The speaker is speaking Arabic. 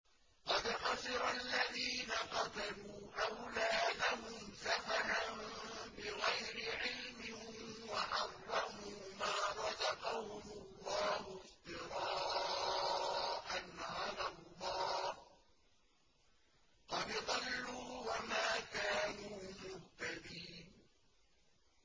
قَدْ خَسِرَ الَّذِينَ قَتَلُوا أَوْلَادَهُمْ سَفَهًا بِغَيْرِ عِلْمٍ وَحَرَّمُوا مَا رَزَقَهُمُ اللَّهُ افْتِرَاءً عَلَى اللَّهِ ۚ قَدْ ضَلُّوا وَمَا كَانُوا مُهْتَدِينَ